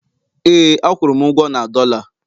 ee, a kwụrụ m ugwo na dollar